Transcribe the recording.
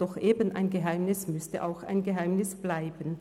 Doch eben ein Geheimnis müsste auch ein Geheimnis bleiben.